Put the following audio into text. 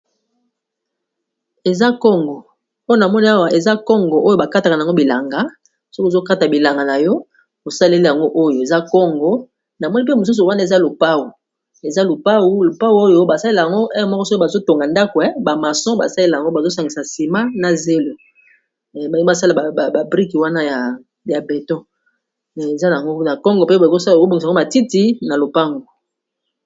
Eza kongo pona moni awa eza congo oyo ba katakana yango bilanga, soki ozokata bilanga na yo osaleli yango oyo eza congo na moni mpe mosusu wana eza lupau eza lupau lupau oyo basalela yango moko soo bazotonga ndakwe, bamaso basalela yango bazosangisa nsima na zelo bani basala babrike wana ya beto eza ango na congo mpe ba kosobungisa yango matiti na lopango.